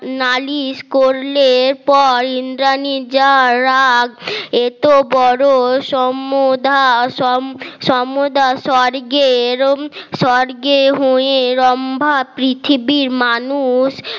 নালিশ করলে পর ইন্দ্রাণী যারা রাগ এত বড় সম্মোধন সম্মদহা স্বর্গে হয়ে রম্ভা পৃথিবীর মানুষ